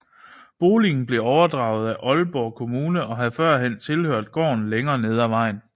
Boligen blev overdraget af Aalborg Kommune og havde førhen tilhørt gården længere nede af vejen